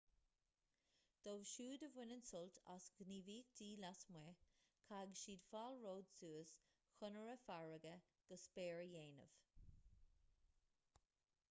dóibh siúd a bhaineann sult as gníomhaíochtaí lasmuigh caithfidh siad fálróid suas chonaire farraige go spéir a dhéanamh